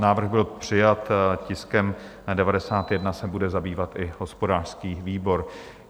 Návrh byl přijat, tiskem 91 se bude zabývat i hospodářský výbor.